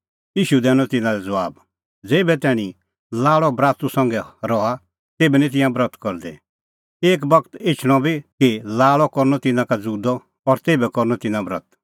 ईशू दैनअ तिन्नां लै ज़बाब ज़ेभै तैणीं लाल़अ बरातू संघै रहा तेभै निं तिंयां ब्रत करदै एक बगत एछणअ इहअ बी कि लाल़अ करनअ तिन्नां का ज़ुदअ और तेभै करनअ तिन्नां ब्रत